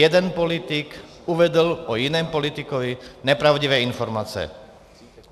Jeden politik uvedl o jiném politikovi nepravdivé informace.